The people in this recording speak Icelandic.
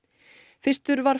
fyrstur var